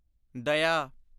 ਦਇਆ